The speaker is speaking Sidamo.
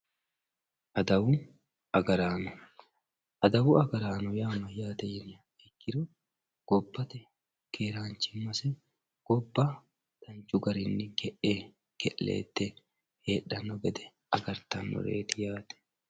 Adawu agaraano. Adawu agaraano yaa mayyaate yiniha ikkiro gobbate keeraanchimmase gobba danchu garinni ge'e ke'leette heedhanno gede agartannoreeti yaate.